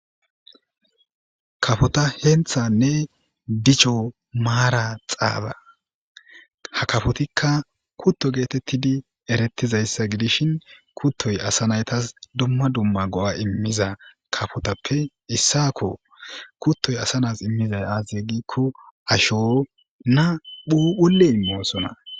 Kafota henthanne dicho maara xaaba ha kafotikka kutto geetettidi erettizayssa gidishin kuttoy asa naytas dumma dumma go7a immiza kafotappe issako kuttoy asa nas immizay azye giikko asho na phuphuley moosona